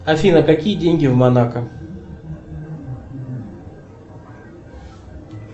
афина какие деньги в монако